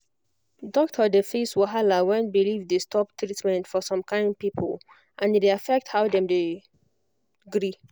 doctor dey face wahala when belief dey stop treatment for some kind people and e dey affect how dem dey dem dey gree